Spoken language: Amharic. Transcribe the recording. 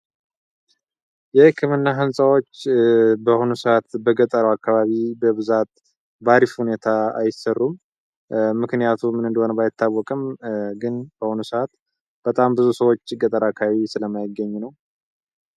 ይህ ክምና ህንፃዎች በሆነ ሰዓት በገጠሩ አካባቢ በብዛት ባሪፍ ሁኔታ አይሰሩም ምክንያቱ ምንእንደሆነ ባይታወቅም ግን በሆኑ ሰዓት በጣም ብዙ ሰዎች ገጠር አካባቢ ስለማይገኙ ነው፡፡